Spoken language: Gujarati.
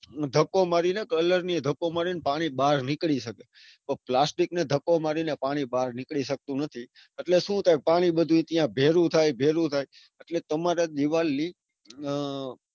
ધક્કો મારીને colour ને ધક્કો મારીને પાણી બાર નીકળી શકે. પણ plastic ને ધક્કો મારીને પાણી બાર નીકળી શકતું નથી. એટલે સુ થાય પાણી બધું ત્યાં ભેગું બથાય ભેગું થાય. એટલે તમારી દીવાલ લિંક ઉહ